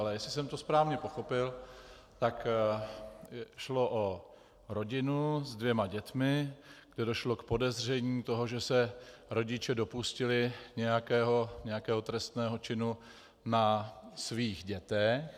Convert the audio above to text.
Ale jestli jsem to správně pochopil, tak šlo o rodinu s dvěma dětmi, kde došlo k podezření toho, že se rodiče dopustili nějakého trestného činu na svých dětech.